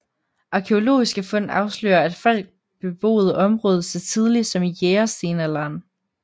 Arkæologiske fund afslører at folk beboede området så tidligt som i jægerstenalderen